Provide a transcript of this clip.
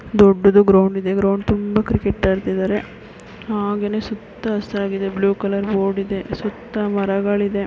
ದೊಡ್ದುದು ground ಇದೆ ground ತುಂಬ cricket ಆಡ್ತಿದಾರೆ ಹಾಗೇನೇ ಸುತ್ತ ಹಸಿರಾಗಿದೆ ಬ್ಲೂ ಕಲರ್ ಬೋರ್ಡ್ ಇದೆ ಸುತ್ತ ಮರಗಳು ಇದೆ .